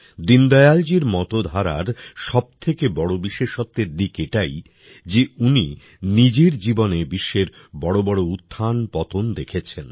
দীনদয়ালজীর মতধারার সবথেকে বড় বিশেষত্বের দিক এটাই যে উনি নিজের জীবনে বিশ্বের বড়বড় উত্থানপতন দেখেছেন